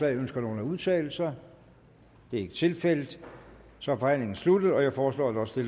ønsker nogen at udtale sig det er ikke tilfældet så er forhandlingen sluttet jeg foreslår at også